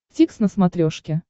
дтикс на смотрешке